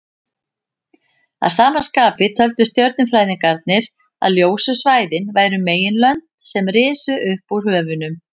Að sama skapi töldu stjörnufræðingarnir að ljósu svæðin væru meginlönd sem risu upp úr höfunum.